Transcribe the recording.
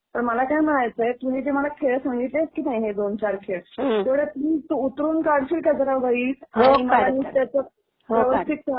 आणि तुझी ही गडबड असेल. तर मला काय म्हणायचंय तू हे जे मला खेळ संगितलेस की नाही हे दोन चार खेळ तेवढे प्लीज तू उतरवून काढशील का जरा वहीत?